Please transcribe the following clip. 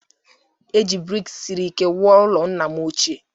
E ji brik siri ike wuo ụlọ nna m ochie